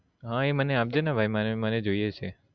હા મને એ આપજે ને ભાઈ મારે એ જોઈએ છે